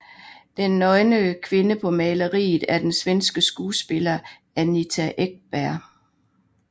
Den nøgne kvinde på maleriet er den svenske skuespiller Anita Ekberg